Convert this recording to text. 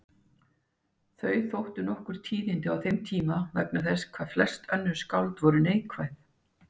Þau þóttu nokkur tíðindi á þeim tíma vegna þess hvað flest önnur skáld voru neikvæð.